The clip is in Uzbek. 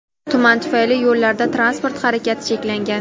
Tuman tufayli yo‘llarda transport harakati cheklangan.